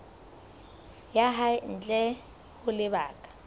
ya hae ntle ho lebaka